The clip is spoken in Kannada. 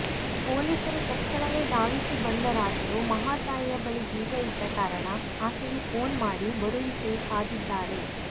ಪೊಲೀಸರು ತಕ್ಷಣವೇ ಧಾವಿಸಿ ಬಂದರಾದರೂ ಮಹಾತಾಯಿಯ ಬಳಿ ಬೀಗ ಇದ್ದ ಕಾರಣ ಆಕೆಗೆ ಫೋನ್ ಮಾಡಿ ಬರುವಿಕೆಗೆ ಕಾದಿದ್ದಾರೆ